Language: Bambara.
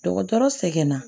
Dɔgɔtɔrɔ sɛgɛn na